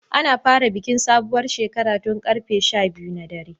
Ana fara bikin sabuwar shekara tun large 12 na dare.